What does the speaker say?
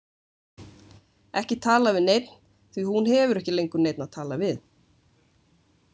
Ekki talað við neinn því hún hefur ekki lengur neinn að tala við.